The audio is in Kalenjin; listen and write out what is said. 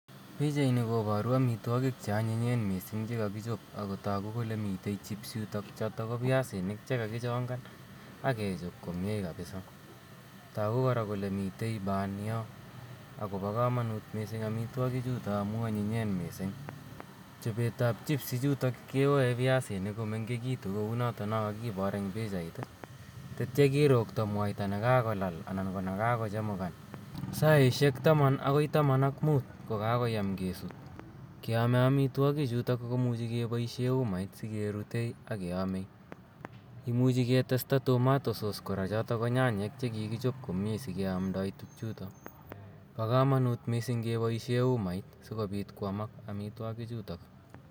Pichaini koparu amitwogiik che anyinyen missing' che kakichop ako tagu kole mitei chips chotok ko piasinik che kakichongan ak kechop komye kapisaa. Tagu kora kolr mitei ban yo akopa kamanut missing' amitwogichutok amu anyinyen missing'. Chopet ap chips kewae piasinik komengekitu kou notono kakipor eng' pichait i, tetia kirkto mwaita n kakolal anan ko kakochemukan saishek taman akoi taman ak muut ko kakoyam kesuut. Keame amitwogichutok kepaishe umait si kerute ak keame . Imuchi ketesta tomato sauce kora chotok ko nyanyek che kikichop komye si keamdai tugchutok. Pa kamanut missing' kepaishe umait si kopit ko amak amitwogichutok.